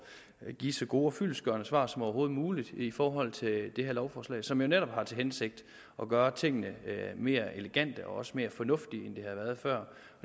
at give så gode og fyldestgørende svar som overhovedet muligt i forhold til det det her lovforslag som jo netop har til hensigt at gøre tingene mere elegante og også mere fornuftige end de har været før